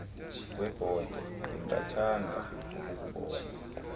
kwebhote ndingathanda ukukubona